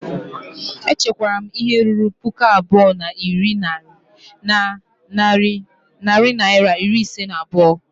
M chekwara ihe ruru puku abụọ na narị naịra iri ise na abụọ